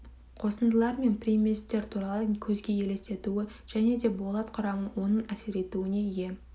қосындылар мен приместер туралы көзге елестетуі және де болат құрамына оның әсер етуіне ие